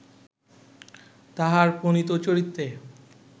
তাঁহার প্রণীত চরিত্রে